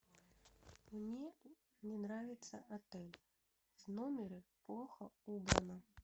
мне не нравится отель в номере плохо убрано